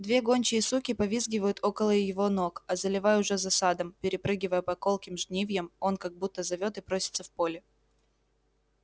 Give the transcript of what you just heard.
две гончие суки повизгивают около его ног а заливай уже за садом перепрыгивая по колким жнивьям он как будто зовёт и просится в поле